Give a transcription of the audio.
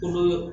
Olu